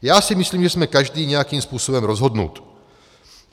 Já si myslím, že jsme každý nějakým způsobem rozhodnut.